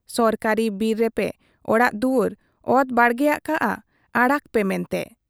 ᱥᱚᱨᱠᱟᱨᱤ ᱵᱤᱨ ᱨᱮᱯᱮ ᱚᱲᱟᱜ ᱫᱩᱣᱟᱹᱨ, ᱚᱛ ᱵᱟᱲᱜᱮ ᱟᱠᱟᱜ ᱟ ᱟᱲᱟᱜᱽ ᱯᱮ ᱢᱮᱱᱛᱮ ᱾